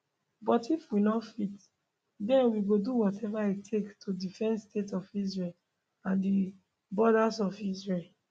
but if we no fit den we go do whatever e take to defend state of israel and di borders of israel